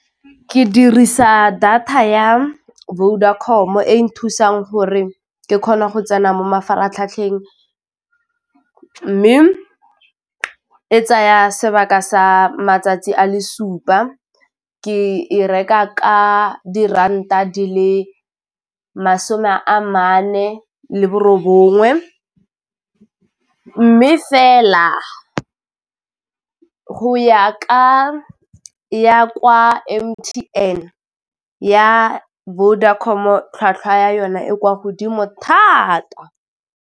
Ke dirisa data ya Vodacom-o e nthusang gore ke kgona go tsena mo mafaratlhatlheng mme e tsaya sebaka sa matsatsi a le supa ke e reka ka diranta di le masome a mane le borongwe mme fela go ya ka ya kwa M_T_N, ya Vodacom tlhwatlhwa ya yona e kwa godimo thata.